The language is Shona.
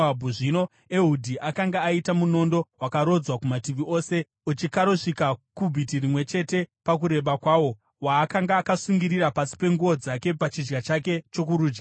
Zvino Ehudhi akanga aita munondo wakarodzwa kumativi ose uchikarosvika kubhiti rimwe chete pakureba kwawo waakanga akasungira pasi penguo dzake pachidya chake chokurudyi.